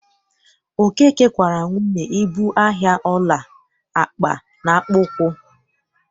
Okeke kwaara nwunye ibu ahịa ọla, akpa na akpụkpọ ụkwụ.